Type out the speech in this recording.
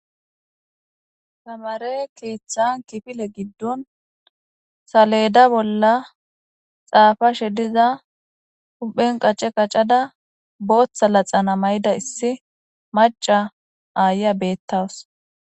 tamare keeththan kifile giddon saleda bolla xaafashe diza huphen qacce qacada booththa laxana may7ida issi maca aaya beettawus